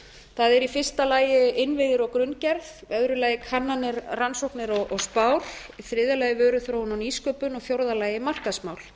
það er í fyrsta lagi innviðir og grunngerð í öðru lagi kannanir rannsóknir og spár í þriðja lagi vöruþróun og nýsköpun í fjórða lagi markaðsmál